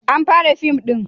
an fara fim din?